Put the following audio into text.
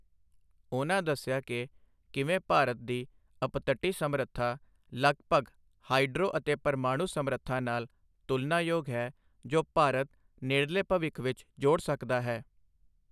ਉਨ੍ਹਾਂ ਦੱਸਿਆ ਕਿ ਕਿਵੇਂ ਭਾਰਤ ਦੀ ਅਪਤਟੀ ਸਮਰੱਥਾ ਲਗਭਗ ਹਾਈਡਰੋ ਅਤੇ ਪਰਮਾਣੂ ਸਮਰੱਥਾ ਨਾਲ ਤੁਲਨਾਯੋਗ ਹੈ, ਜੋ ਭਾਰਤ ਨੇੜਲੇ ਭਵਿੱਖ ਵਿੱਚ ਜੋੜ ਸਕਦਾ ਹੈ।